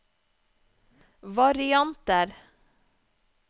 varianter